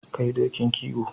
Kai dokin kiwo.